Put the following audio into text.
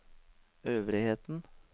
øvrigheten